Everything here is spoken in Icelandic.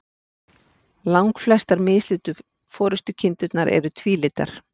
Langflestar mislitu forystukindurnar eru tvílitar.